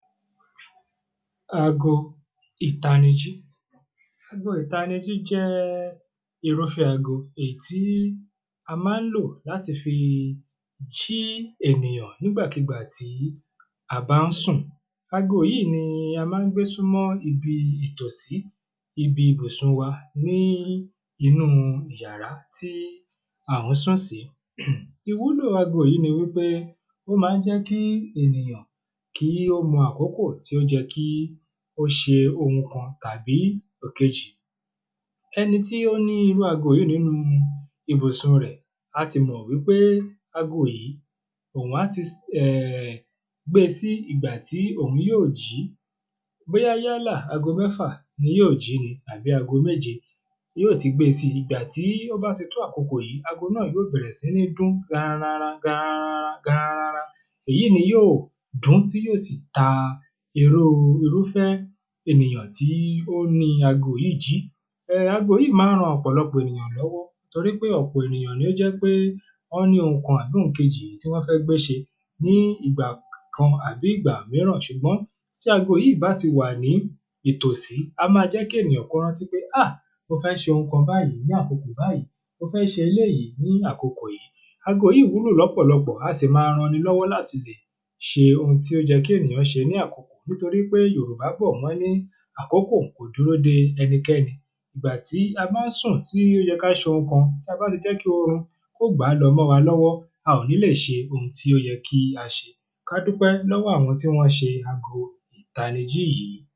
Aago ìtanijí Aago ìtanijí jẹ́ irúfé aago èyí tí a máa ń lò láti fi jí ènìyàn nígbàkígbà tí a bá ń sùn Aago yìí ni a máa ń gbé súmọ ibi ìtòsí ibi ibùsùn wa ní inú ìyàrá tí a ń sùn sí Ìwúlò ago yìí ni wípé o máa ń jẹ́ kí ènìyàn kí ó mọ àkókò tí ó yẹ kí ó ṣe oun kan tàbí ẹ̀kejì Ẹni tí ó ní irú ago yìí ní inú ibùsùn rẹ̀ á ti mọ̀ wípé ago yìí òhun á ti um gbe sí ìgbà tí òhun yóò jí Bóyá yálà ago mẹ́fà ni yóò ji ni àbí ago méje yóò ti gbé e si Ìgbà tí o bá ti tó àkókò yìí ago náà yóò bẹ̀rẹ̀ sí ní dún garanranran garanranran garanranran Èyí ni yóò dún tí yóò sì ta irú irúfé ènìyàn tí ó ni aago yìí jí um aago yìí máa ń ran ọ̀pọ̀lọpọ̀ ènìyàn lọ́wọ́ Torí ọ̀pọ̀ ènìyàn ni ó jẹ́ pé wọ́n ní oun kan àbí oun kejì tí wọ́n fẹ́ gbé ṣe ní ìgbà kan àbí ìgbà mìíràn Ṣùgbọ́n tí aago yìí bá ti wà ní ìtòsí a máa jẹ́ kí ènìyàn kí ó rántí pé ah mo fẹ́ ṣe oun kan báyì ní àkókò bayìí mo fẹ́ ṣe eléyì ní àkókò yìí Ago yìí wúlò lọ́pọ̀lọpọ̀ a sì máa ran ẹni lọ́wọ́ láti lè ṣe oun tí ó yẹ kí ènìyàn ṣe ní àkókò Nítorí pé Yorùbá bọ̀ wọ́n ní àkókò kò dúró de ẹnikẹ́ni Ìgbà tí a bá ń sùn tí ó yẹ kí a ṣe oun kan tí a bá ti jẹ́ kí orun kí ó gbà á lọ mọ́ wa lọ́wọ́ a ò ní lè ṣe oun tí ó yẹ kí á ṣe Kí a dúpẹ́ lọ́wọ́ àwọn tí wọ́n ṣe ago ìtanijí yìí